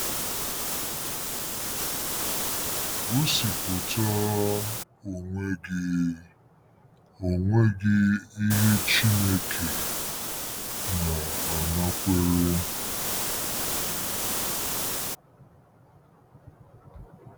Gosipụta onwe gị onwe gị ihe Chineke na-anakwere